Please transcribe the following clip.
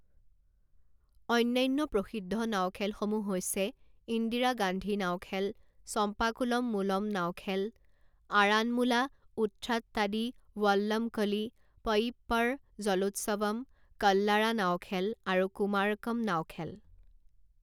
অন্যান্য প্ৰসিদ্ধ নাও খেলসমূহ হৈছে ইন্দিৰা গান্ধী নাও খেল, চম্পাকুলম মুলম নাও খেল, আৰানমুলা উথ্ৰাট্টাদি ৱল্লমকলি, পয়ীপ্পড় জলোৎসৱম, কল্লাড়া নাও খেল আৰু কুমাৰকম নাও খেল।